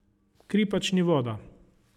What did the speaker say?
Kri pač ni voda.